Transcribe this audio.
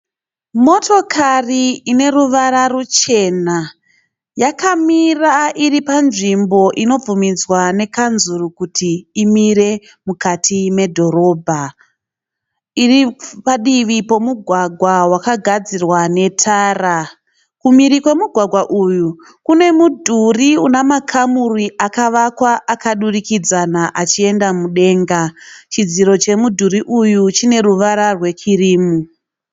Motokari ine ruvara ruchena. Yakamira iri panzvimbo inobvuminzwa nekanzuru kuti imire mukati medhorobha. Iri padivi pemugwagwa wakagadzirwa netara. Kumhiri kwemugwagwa uyu kune mudhuri una makamuri akavakwa akadurikidzana achienda mudenga. Chidziro chemudhuri uyu chine ruvara rwe kirimu.